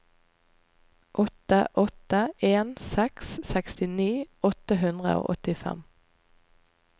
åtte åtte en seks sekstini åtte hundre og åttifem